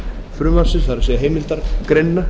frumvarpsins það er heimildargreinina